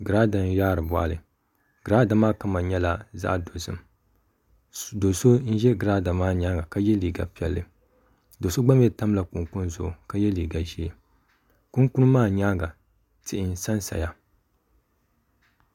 Girada n yaari boɣali girada maa kama nyɛla zaɣ dozim do so n ʒɛ girada maa nyaanga ka yɛ liiga piɛlli do so gba mii tamla kunkun zuɣu ka yɛ liiga ʒiɛ kunkun maa nyaanga tihi n sansaya